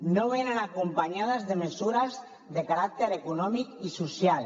no venen acompanyades de mesures de caràcter econòmic i social